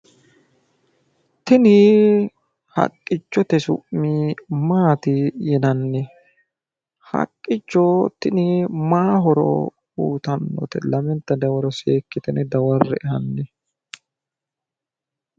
Tini haqqichote su'mi maati yinanni? Haqqicho tini maa horo uuyitanno? Lamenta dawaro seekkitine dawarre''e hanni.